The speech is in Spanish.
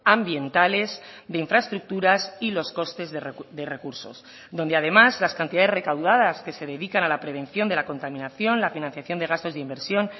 ambientales de infraestructuras y los costes de recursos donde además las cantidades recaudadas que se dedican a la prevención de la contaminación la financiación de gastos de inversión